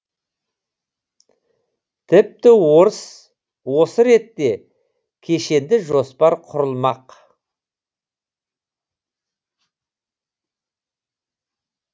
тіпті осы ретте кешенді жоспар құрылмақ